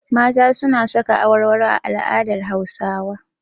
Mata suna saka awarwaro a al'adar Hausawa.